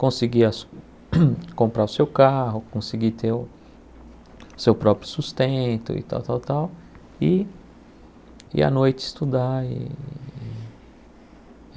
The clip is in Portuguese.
Conseguia conseguir comprar o seu carro, conseguir ter o seu próprio sustento e tal, tal, tal, e e à noite estudar e.